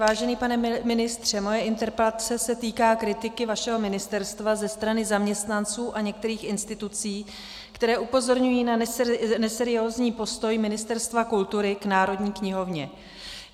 Vážený pane ministře, moje interpelace se týká kritiky vašeho ministerstva ze strany zaměstnanců a některých institucí, které upozorňují na neseriózní postoj Ministerstva kultury k Národní knihovně.